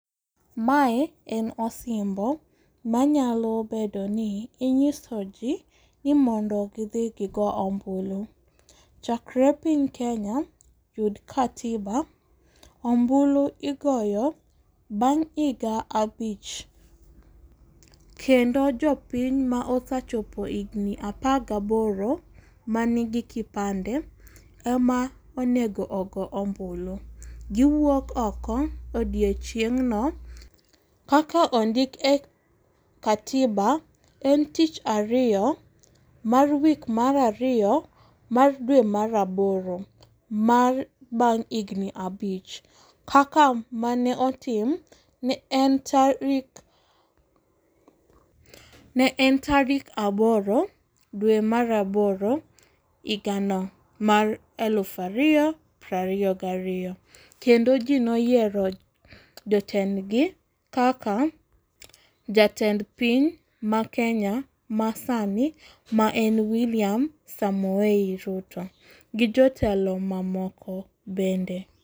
Mae en osimbo manyalo bedoni inyisoji ni mondo gi dhi gi go ombulu. Chakre piny kenya yud katiba ombulu igoyo bang' iga abich. Kendo jopiny ma osechopo igni apagaboro manigi kipande ema onego ogo ombulu. Giwuok oko odiechieng'no kaka ondik e katiba en tich ariyo mar wik marariyo mar dwe mar aboro mar bang' igni abich kaka mane otim ne en tarik ne en tarik aboro dwe mara aboro igano mar elufu ariyo prariyo gariyo. Kendo ji ne oyiero jotendgi kaka jatend piny ma Kenya masani mae en William Samoei Ruto gi jotelo mamoko bende.